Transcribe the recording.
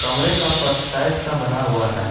कमरे का फर्श टाइल्स का बना हुआ है।